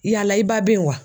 Yala i ba bɛ yen wa?